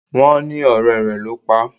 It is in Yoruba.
Wón ní ọ̀rẹ́ rẹ ló pá.